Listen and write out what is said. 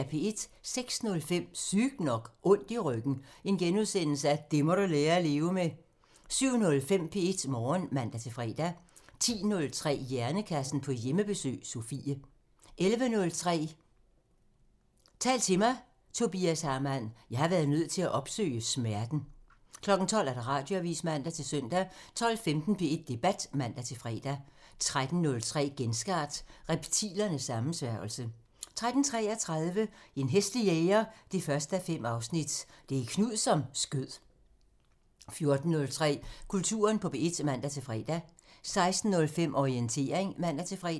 06:05: Sygt nok: Ondt i ryggen – det må du lære at leve med * 07:05: P1 Morgen (man-fre) 10:03: Hjernekassen på Hjemmebesøg – Sofie 11:03: Tal til mig – Tobias Hamann: "Jeg har været nødt til at opsøge smerten" 12:00: Radioavisen (man-søn) 12:15: P1 Debat (man-fre) 13:03: Genstart: Reptilernes sammensværgelse 13:33: En hæslig jæger 1:5 – Det er Knud, som skød 14:03: Kulturen på P1 (man-fre) 16:05: Orientering (man-fre)